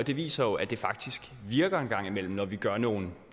det viser jo at det faktisk virker en gang imellem når vi gør nogle